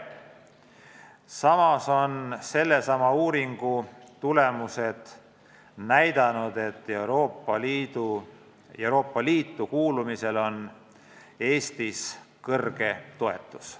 Samas on sellesama uuringu tulemused näidanud, et Euroopa Liitu kuulumisele on Eestis suur toetus.